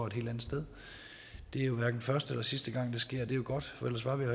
et helt andet sted det er jo hverken første eller sidste gang det sker det jo godt